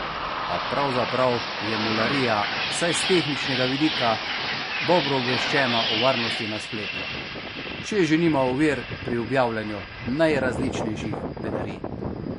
A pravzaprav je mularija vsaj s tehničnega vidika dobro obveščena o varnosti na spletu, če že nima ovir pri objavljanju najrazličnejših bedarij.